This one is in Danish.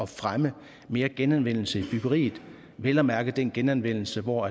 fremme mere genanvendelse i byggeriet vel at mærke den genanvendelse hvor